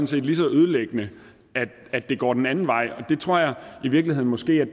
set lige så ødelæggende at det går den anden vej det tror jeg i virkeligheden måske er